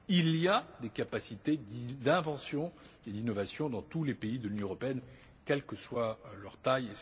Il y a des capacités d'invention et d'innovation dans tous les pays de l'Union européenne, quelle que soit leur taille.